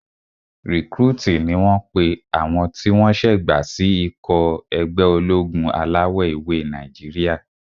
Rìkrútìì ni wọ́n pe àwọn tí wọ́n ṣé